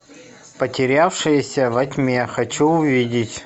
потерявшаяся во тьме хочу увидеть